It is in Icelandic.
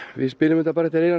við spilum bara eftir eyranu